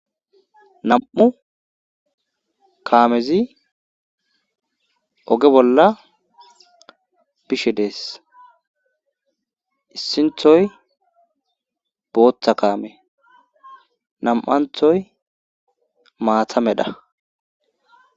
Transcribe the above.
nam7u kaamezi oge bolla bishe dees issinthoy booththa kaame nam7anthoy maathamedha